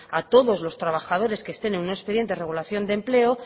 a todos los trabajadores que estén en un expediente de regulación de empleo